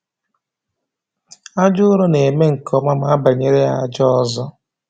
Aja ụrọ na-eme nke ọma ma abanyere ya aja ọzọ